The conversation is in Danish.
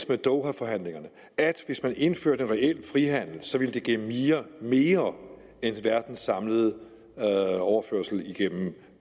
med dohaforhandlingerne at hvis man indførte reel frihandel ville det give mere end verdens samlede overførsel igennem